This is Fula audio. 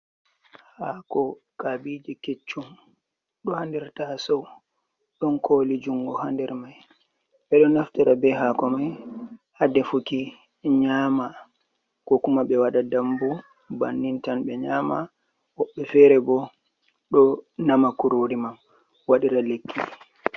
Haako kaabije keccum do ha nder tasou don koli jungo ha nder mai ɓe ɗo naftira be haako mai ha defuki nyama ko kuma ɓe waɗa dambu bannin tan ɓe nyama woɓɓe feere bo ɗo nama kurori man waɗira lekki.